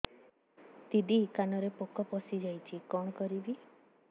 ଦିଦି କାନରେ ପୋକ ପଶିଯାଇଛି କଣ କରିଵି